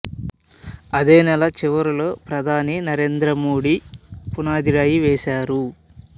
అదే నెల చివరలో ప్రధాని నరేంద్ర మోడీ పునాదిరాయి వేశారు